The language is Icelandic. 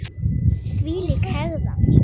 Þvílík hegðan!